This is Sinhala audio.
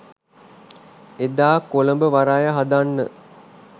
එදා කොළඹ වරාය හදන්න